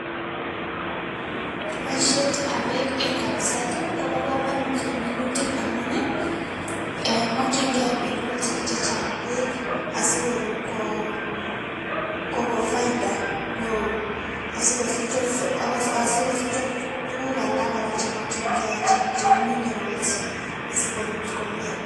Boisietab beek en kapiset ii kobo komonut en minutik amun ii ee mokyingei minutik chechang' beek asikor koo koko faida neo asikosich also asikosich ot tuguk alak chemokyingei che cheu mineral asikorut komie.